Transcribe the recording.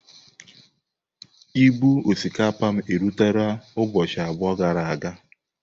Ibu osikapa m rutere ụbọchị abụọ gara aga.